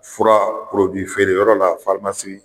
Fura feere yɔrɔ la